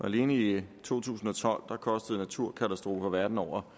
og alene i to tusind og tolv kostede naturkatastrofer verden over